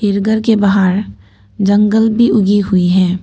जो घर के बाहर जंगल भी उगी हुई है।